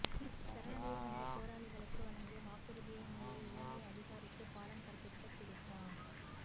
சரணடைய வந்த போராளிகளுக்கு வழங்கிய வாக்குறுதியை மீறிய இலங்கை அதிகாரிக்குப் பாடம் கற்பித்த பிரித்தா